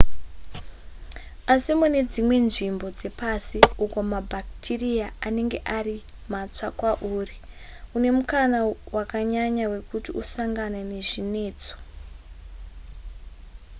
asi mune dzimwe nzvimbo dzepasi uko mabhakitiriya anenge ari matsva kwauri une mukana wakanyanya wekuti usangane nezvinetso